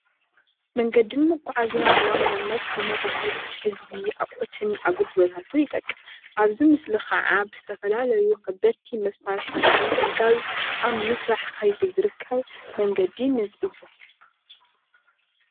መንገዲ መዓዝያ ብዋናነት ንመራከቢ ህዝቢ ኣቁሕትን ኣገልግሎታትን ይጠቅም፡፡ ኣብዚ ምስሊ ከዓ ብዝተፈላለዩ ከበድቲ መሳርሕታት ብምሕጋዝ ኣብ ምስራሕ ከይዲ ዝርከብ መንገዲ ነዚ፡፡